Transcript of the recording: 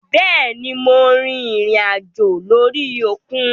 Béèni Mo rìnrìn àjò lórí òkun